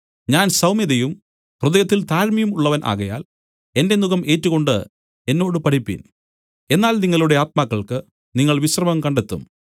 ഞാൻ സൌമ്യതയും ഹൃദയത്തിൽ താഴ്മയും ഉള്ളവൻ ആകയാൽ എന്റെ നുകം ഏറ്റുകൊണ്ട് എന്നോട് പഠിപ്പിൻ എന്നാൽ നിങ്ങളുടെ ആത്മാക്കൾക്ക് നിങ്ങൾ വിശ്രമം കണ്ടെത്തും